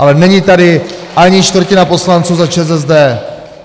Ale není tady ani čtvrtina poslanců za ČSSD!